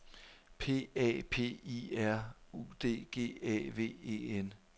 P A P I R U D G A V E N